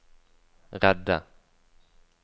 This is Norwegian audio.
redde